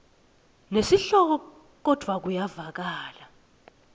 nesihloko kodvwa kuyevakala